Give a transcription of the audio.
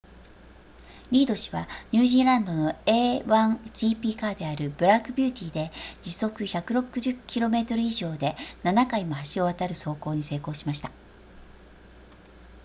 リード氏はニュージーランドの a1gp カーであるブラックビューティーで時速160 km 以上で7回も橋を渡る走行に成功しました